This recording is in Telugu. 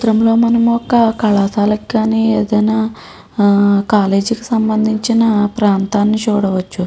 చిత్రం లో మనము ఒక కళాశాల కి కానీ ఏదైన కాలేజీ సంభందించిన ప్రాంతాన్ని చూడవచ్చు.